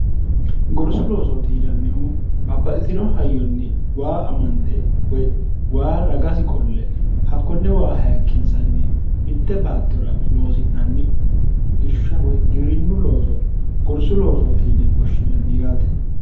gorsu loosootiinannihu babbaxitino hayyonni waa amande woy waa ragasi qolle hakkonne waa hayikkinsanni mitte baattora loosi'nanni irsha woy giwirinnu looso gorsu loosootiine woshshinanni yaate